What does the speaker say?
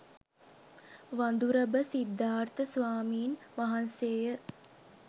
වඳුරඹ සිද්ධාර්ථ ස්වාමීන් වහන්සේ ය.